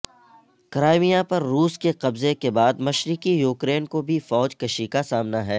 Crimea پر روس کے قبضےکے بعد مشرقی یوکرین کو بھی فوج کشی کا سامنا ہے